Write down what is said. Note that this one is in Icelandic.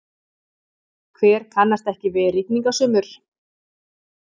Hver kannast ekki við rigningasumur?